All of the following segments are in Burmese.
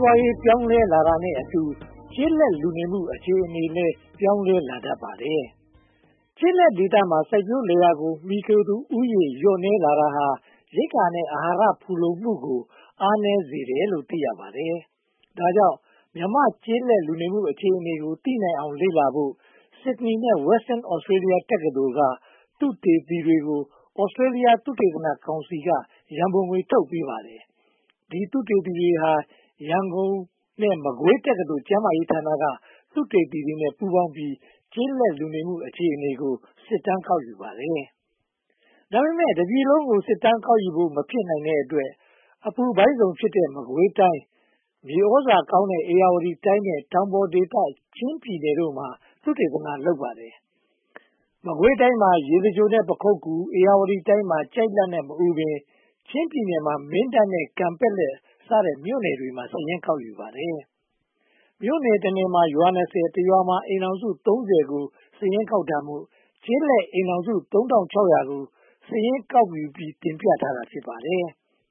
ပွားရေး ပြောင်းလဲလာတာနဲ့အတူ ကျေးလက်လူနေမှု အခြေအနေလည်း ပြောင်းလဲလာတတ်ပါတယ်။ ကျေးလက်ဒေသမှာ စိုက်ပျိုးလယ်ယာကို မှီခိုသူဦးရေ လျှော့နည်းလာတာဟာ ရိက္ခာနဲ့ အဟာရ ဖူလုံမှုကို အားနည်းစေတယ်လို့ သိရပါတယ်။ ဒါကြောင့် မြန်မာ့ကျေးလက်လူနေမှု အခြေအနေကို သိနိုင်အောင် လေ့လာနိုင်ဖို့ Sydney နဲ့ Western Australia တက္ကသိုလ်က သုတေသီတွေကို Australia သုတေသနကောင်စီက ရန်ပုံငွေ ထုတ်ပေးပါတယ်။ ဒီ သုတေသီတွေဟာ ရန်ကုန် နဲ့ မကွေးတက္ကသိုလ် ကျန်းမာရေးဌာနက သုတေသီတွေနဲ့ ပူးပေါင်းပြီး ကျေးလက်လူနေမှု အခြေအနေကို စစ်တမ်းကောက်ယူပါတယ်။ ဒါပေမဲ့ တတိုင်းပြည်လုံးကို စစ်တမ်းကောက်ယူဖို့ မဖြစ်နိုင်တဲ့အတွက် အပူပိုင်းဇုန်ဖြစ်တဲ့ မကွေးတိုင်း၊ မြေသြဇာကောင်းတဲ့ ဧရာဝတီတိုင်း နဲ့ တောင်ပေါ်ဒေသ ချင်းပြည်နယ်တို့မှာ သုတေသန လုပ်ပါတယ်။ မကွေးတိုင်းမှာ ရေစကြို နဲ့ ပခုက္ကူ၊ ဧရာဝတီတိုင်းမှာ ကျိုက်လတ် နဲ့ မအူပင်၊ ချင်းပြည်နယ်မှာ မင်းတပ် နဲ့ ကန်ပက်လက် စတဲ့မြို့တွေမှာ စာရင်းကောက်ယူပါတယ်။ မြို့နယ်တနယ်မှာ ရွာ (၂၀)၊ တရွာမှာ အိမ်ထောင်စု (၃၀) ကို စာရင်းကောက်တာမို့ ကျေးလက်အိမ်ထောင်စု (၃၆၀၀) ကို စာရင်းကောက်ယူပြီး တင်ပြထားတာ ဖြစ်ပါတယ်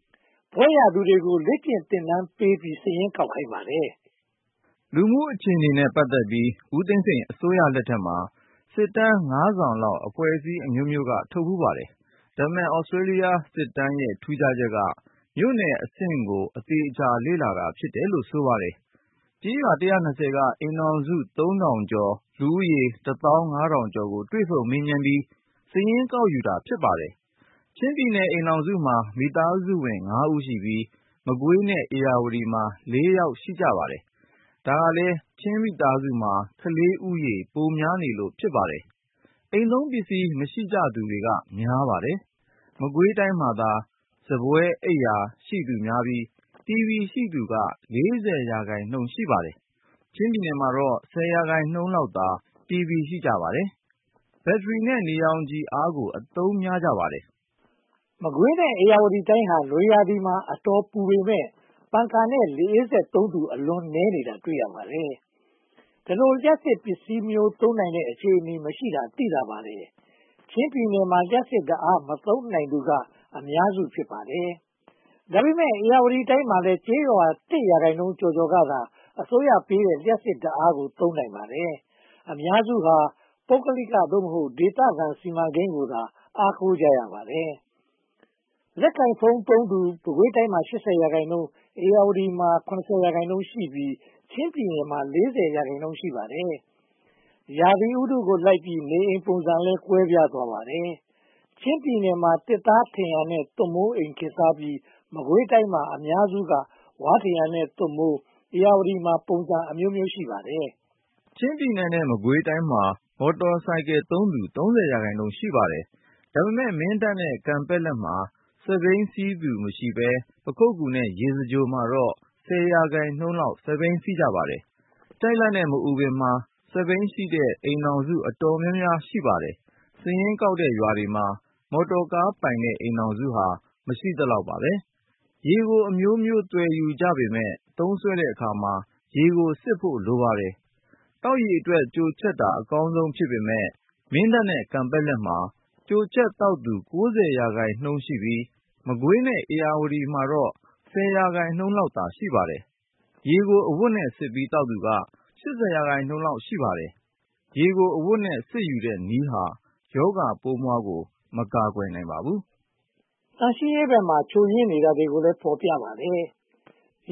။ ဘွဲ့ရသူတွေကို လေ့ကျင့်သင်တန်းပေးပြီး စာရင်းကောက်ခိုင်းပါတယ်။ လူနေမှုအခြေအနေနဲ့ ပတ်သက်ပြီး ဦးသိန်းစိန်အစိုးရလက်ထက်မှာ စစ်တမ်း (၅) စောင်လောက် အဖွဲ့အစည်းအမျိုးမျိုး ထုတ်ဖူးပါတယ်။ ဒါပေမဲ့ Australia စစ်တမ်းရဲ့ ထူးခြားချက်က မြို့နယ်အဆင့်ကို အသေအချာ လေ့လာတာ ဖြစ်တယ်လို့ ဆိုပါတယ်။ ကျေးရွာ (၁၂၀) က အိမ်ထောင်စု (၃) ထောင်ကျော်၊ လူဦးရေ (၁) သောင်း (၅) ထောင်ကျော်ကို တွေ့ဆုံမေးမြန်းပြီး စာရင်းကောက်ယူတာ ဖြစ်ပါတယ်။ ချင်းပြည်နယ် အိမ်ထောင်စုမှာ မိသားစုဝင် (၅) ဦးရှိပြီး၊ မကွေးနဲ့ ဧရာဝတီမှာ (၄) ယောက် ရှိပါတယ်။ ဒါကလဲ ချင်းမိသားစုမှာ ကလေးဦးရေ ပိုများနေလို့ ဖြစ်ပါတယ်။ အိမ်သုံးပစ္စည်း မရှိကြသူက များပါတယ်။ မကွေးတိုင်းမှာသာ စားပွဲ၊ အိပ်ရာ ရှိသူများပြီး၊ တီဗီ ရှိသူက (၄၀) ရာခိုင်နှုန်းသာ ရှိပါတယ်။ ချင်းပြည်နယ်မှာတော့ (၁၀) ရာခိုင်နှုန်းလောက်သာ တီဗီ ရှိကြပါတယ်။ ဘက်ထရီ နဲ့ နေရောင်ခြည်ကို အားကိုးအသုံးများပါတယ်။ မကွေးနဲ့ ဧရာဝတီတိုင်းဟာ နွေရာသီမှာ အတော်ပူပေမယ့် ပန်ကာနဲ့ လေအေးစက်သုံးသူ အလွန်နည်းနေတာ တွေ့ရပါတယ်။ ဒီလို လျှပ်စစ်ပစ္စည်း သုံးနိုင်တဲ့ အခြေအနေမရှိတာ သိသာပါတယ်။ ချင်းပြည်နယ်မှာ လျှပ်စစ်ဓါတ်အား မသုံးနိုင်သူက အများစု ဖြစ်ပါတယ်။ ဒါပေမဲ ဧရာဝတီတိုင်းမှာလည်း ကျေးရွာ (၁) ရာခိုင်နှုန်းကျော်ကျော်ကသာ အစိုးရပေးတဲ့ လျှပ်စစ်ဓါတ်အားကို သုံးနိုင်ပါတယ်။ အများစုဟာ ပုဂ္ဂလိက (သို့မဟုတ်) ဒေသခံ စီမံကိန်းကိုသာ အားကိုကြပါတယ်။ လက်ကိုင်ဖုန်းသုံးသူ မကွေးတိုင်းမှာ (၈၀) ရာခိုင်နှုန်း၊ ဧရာဝတီတိုင်းမှာ (၇၀) ရာခိုင်နှုန်းရှိပြီး၊ ချင်းပြည်နယ်မှာ (၄၀) ရာခိုင်နှုန်း ရှိပါတယ်။ ရာသီဥတုလိုက်ပြီး နေအိမ်ပုံစံတွေလည်း ကွဲပြားသွားပါတယ်။ ချင်းပြည်နယ်မှာ သစ်သားထရံနဲ့ သွပ်မိုးအိမ် ခေတ်စားပြီး၊ မကွေးတိုင်းမှာ အများစုက ဝါးထရံနဲ့ သွပ်မိုး၊ ဧရာဝတီတိုင်းမှာလည်း ပုံစံအမျိုးမျိုး ရှိပါတယ်။ ချင်းပြည်နယ်နဲ့ မကွေးတိုင်းမှာ မော်တော်ဆိုင်ကယ်သုံးသူ (၃၀) ရာခိုင်နှုန်း ရှိပါတယ်။ ဒါပေမဲ့ မင်းတပ်နဲ့ ကန်ပက်လက်မှာ စက်ဘီး စီးသူမရှိဘဲ၊ ပခုက္ကူနဲ့ ရေစကြိုမှာတော့ (၁၀) ရာခိုင်နှုန်းလောက် စက်ဘီး စီးကြပါတယ်။ ကျိုက်လတ်နဲ့ မအူပင်မှာ စက်ဘီးရှိတဲ့ အိမ်ထောင်စု အတော်များပါတယ်။ စာရင်းကောက်တဲ့ရွာတွေမှာ မော်တော်ကားပိုင်တဲ့ အိမ်ထောင်စုဟာ မရှိသလောက်ပါ။ ရေကိုအမျိုးမျိုး သွယ်ယူကြပေမယ့် မင်းတပ်နဲ့ ကန်ပက်လက်မှာ ကြိုချက်သောက်သူ (၉၀) ရာခိုင်နှုန်းရှိပြီး၊ မကွေးနဲ့ ဧရာဝတီမှာတော့ (၁၀) ရာခိုင်နှုန်းလောက်သာ ရှိပါတယ်။ ရေကို အဝတ်နဲ့စစ်ပြီး သောက်သူက (၈၀) ရာခိုင်နှုန်းလောက် ရှိပါတယ်။ ရေကို အဝတ်နဲ့စစ်ယူတဲ့နည်းဟာ ရောဂါပိုးမွှားကို မကာကွယ်နိုင်ပါဘူး။ သန့်ရှင်းရေးဘက်မှာ ချို့ယွင်းနေတာတွေကိုလည်း ဖော်ပြပါတယ်။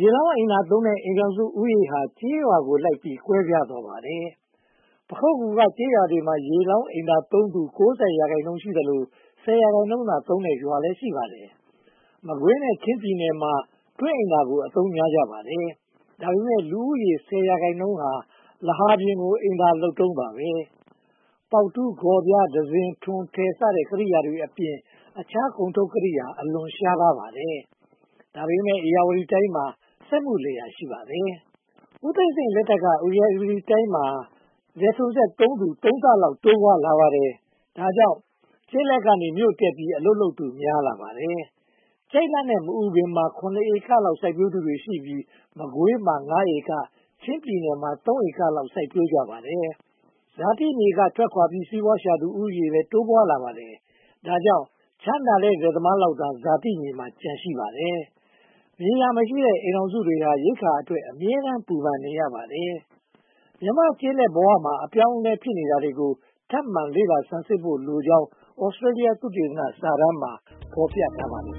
ရေလောင်းအိမ်သာသုံးတဲ့ အိမ်ထောင်စုဦးရေဟာ ကျေးရွာကိုလိုက်ပြီး ကွဲပြားသွားပါတယ်။ ပခုက္ကူက ကျေးရွာတွေမှာ ရေလောင်းအိမ်သာသုံးသူ (၉၀) ရာခိုင်နှုန်း ရှိသလို၊ (၁၀) ရာခိုင်နှုန်းသာသုံးတဲ့ ရွာတွေလည်း ရှိပါတယ်။ မကွေးနဲ့ ချင်းပြည်နယ်မှာ တွင်းအိမ်သာကိုသာ အသုံးများကြပါတယ်။ ဒါပေမဲ့ လူဦးရေ (၁၀) ရာခိုင်နှုန်းဟာ လဟာပြင်ကို အိမ်သာလုပ်တုန်းပါ။ ပေါက်တူး၊ ဂေါ်ပြား၊ တံစဉ်၊ ထွန်ထယ်စတဲ့ ကိရိယာတွေအပြင် အခြားကုန်ထုတ်ကိရိယာတွေ အလွန်ရှားပါးပါတယ်။ ဒါပေမဲ့ ဧရာဝတီတိုင်းမှာ စက်မှုလယ်ယာ ရှိပါတယ်။ ဦးသိန်းစိန်လက်ထက်က ဧရာဝတီတိုင်းမှာ လယ်ထွန်းစက်သုံးသူ (၃) ဆလောက် တိုးပွားလာပါတယ်။ ဒါကြောင့် ကျေးလက်ကနေ မြို့တက်ပြီး အလုပ်လုပ်သူ များပြားလာပါတယ်။ ကျိုက်လတ်နဲ့ မအူပင်မှာ (၇) ဧကလောက် စိုက်ပျိုးသူတွေရှိပြီး၊ မကွေးမှာ (၅) ဧက၊ ချင်းပြည်နယ်မှာ (၃) ဧကလောက် စိုက်ပျိုးကြပါတယ်။ ဇာတိမြေက ထွက်ခွါပြီး စီးပွားရှာသူ ဦးရေလည်း တိုးပွားလာပါတယ်။ ဒါကြောင့် ချမ်းသာတဲ့ လယ်သမားလောက်သာ ဇာတိမြေမှာ ကျန်ရှိနေပါတယ်။ မြေယာမရှိတဲ့ မိသားစုတွေဟာ ရိက္ခာအတွက် အမြဲတမ်း ပူပန်နေရပါတယ်။ မြန်မာ့ကျေးလက်ဘဝမှာ အပြောင်းအလဲ ဖြစ်နေတာကို ထပ်မံလေ့လာ ဆန်းစစ်ဖို့လိုကြောင်း Australia သုတေသီစစ်တမ်းမှာ ဖော်ပြထားပါတယ်